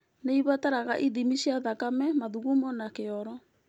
Nĩ ĩbataraga ithimi cia thakame, mathugumo na kĩoro.